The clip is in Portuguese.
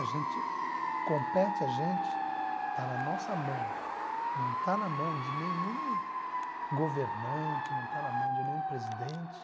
A gente compete, a gente está na nossa mão, não está na mão de nenhum governante, não está na mão de nenhum presidente.